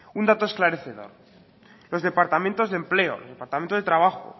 un dato esclarecedor los departamentos de empleo el departamento de trabajo